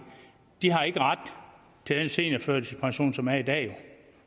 har ikke ret til den seniorførtidspension som vi har i dag